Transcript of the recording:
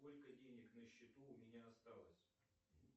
сколько денег на счету у меня осталось